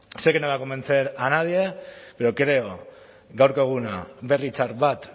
sé que no voy a convencer a nadie pero creo gaurko eguna berri txar bat